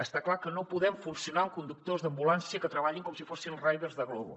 està clar que no podem funcionar amb conductors d’ambulància que treballin com si fossin riders de glovo